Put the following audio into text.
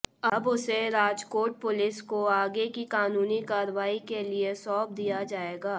अब उसे राजकोट पुलिस को आगे की कानूनी कार्रवाई के लिए सौंप दिया जाएगा